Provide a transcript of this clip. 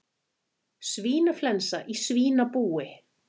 Svínaflensa í svínabúi